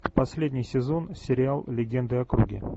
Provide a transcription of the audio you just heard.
последний сезон сериал легенды о круге